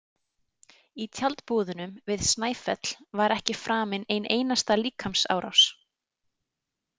Í tjaldbúðunum við Snæfell var ekki framin ein einasta líkamsárás.